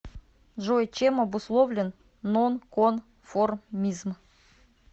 джой чем обусловлен нонконформизм